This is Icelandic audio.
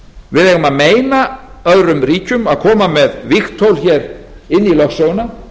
við eigum að meina öðrum ríkjum að koma með vígtól hér inn í lögsöguna